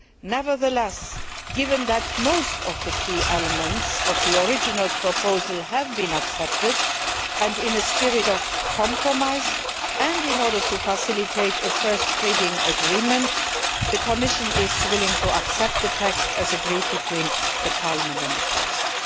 Nevertheless, given that most of the key elements of the original proposal have been accepted, and in a spirit of compromise and in order to facilitate a first reading agreement, the Commission is willing to accept the text as agreed between Parliament and the Council.